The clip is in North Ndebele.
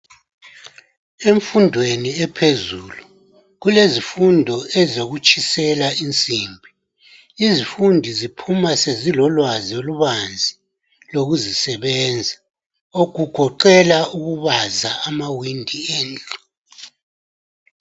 Emfundweni ephezulu, kulezifundo ezokutshisela insimbi. Izifundi ziphuma sezilolwazi olubanzi, lokuzisebenza. Kugoqela ukubaza amawindi endlu.